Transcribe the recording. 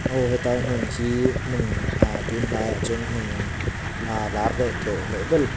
aw tai hmun khi hmun ahh tûn hnaiah chuan hmun a lâr leh tlawh hlawh ber--